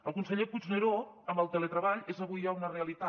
al conseller puigneró el teletreball és avui ja una realitat